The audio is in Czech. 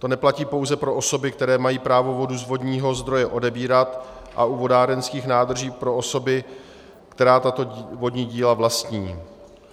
To neplatí pouze pro osoby, které mají právo vodu z vodního zdroje odebírat, a u vodárenských nádrží pro osoby, které tato vodní díla vlastní.